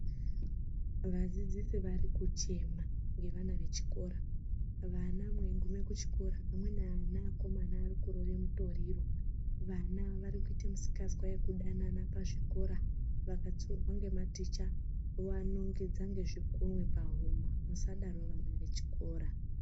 Vadzidzisi vari kuchema ngevana vechikora. Vana mweieiguma kuchikora vamweni ana akomana varikurova mitoriro. Amweni ana arikuita misikanzwa yekudanana pachikora. Vamweni vana vakatsiurwa ngematicha vanovanongedza ngezvikunwe pahuma. Musadaro vana vechikora.